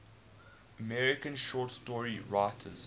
american short story writers